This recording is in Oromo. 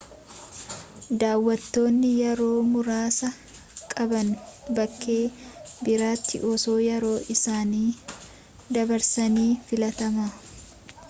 daawwattoonni yeroo muraasa qaban bakkee biraatti osoo yeroo isaanii dabarsanii filatama